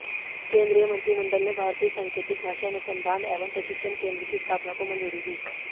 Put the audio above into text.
केंद्रीय मंत्रिमंडल ने भारतीय सांकेतिक भाषा अनुसंधान एवं प्रशिक्षण केंद्र की स्थापना को मंजूरी दी